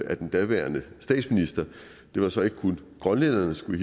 af den daværende statsminister det var så ikke kun grønlænderne skulle